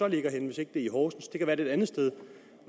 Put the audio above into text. ligger henne hvis ikke det er i horsens det kan være det et andet sted